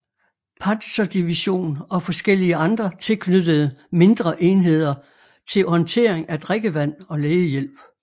Panzerdivision og forskellige andre tilknyttede mindre enheder til håndtering af drikkevand og lægehjælp